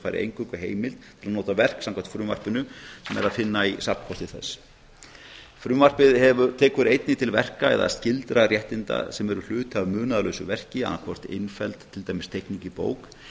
fær eingöngu heimild til að nota verk sem samkvæmt frumvarpinu sem er að finna í safnkosti þess frumvarpið tekur einnig til verka eða skyldra réttinda sem eru hluti af munaðarlausu verki annað hvort innfelld til dæmis teikning í bók